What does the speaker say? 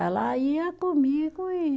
Ela ia comigo e